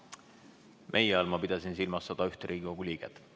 "Meie" all ma pidasin silmas 101 Riigikogu liiget.